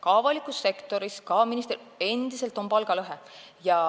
Ka avalikus sektoris on endiselt palgalõhe.